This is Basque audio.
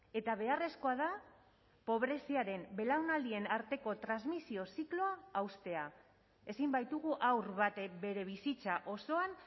eta beharrezkoa da pobreziaren belaunaldien arteko transmisio zikloa haustea ezin baitugu haur batek bere bizitza osoan